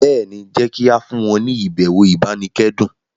béèni jé ki a fún wọn ni ibẹwo ibanikẹdun.